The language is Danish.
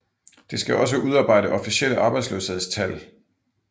Det skal også udarbejde officielle arbejdsløshedstal